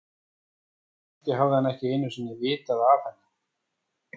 En kannski hafði hann ekki einu sinni vitað af henni.